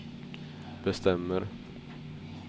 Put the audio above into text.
bestämmer